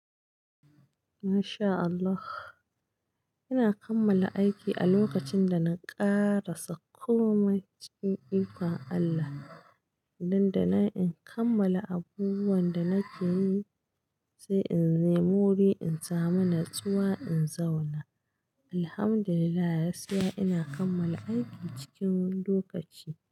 Masha Allah, ina kammala aiki a lokacin da na ƙarasa Komai, cikin ikon Allah. Dan da nan in kammala abubuwan da nake yi, sai in nemi wuri in samu natsuwa in zauna. Alhamdulillah, gaskiya ina kammala aiki cikin lokaci.